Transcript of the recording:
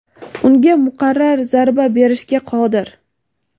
unga muqarrar zarba berishga qodir.